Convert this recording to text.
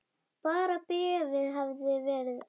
Bara bréfið hefði verið ekta!